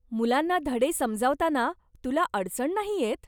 मुलांना धडे समजावताना तुला अडचण नाही येत?